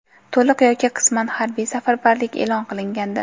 to‘liq yoki qisman harbiy safarbarlik e’lon qilgandi.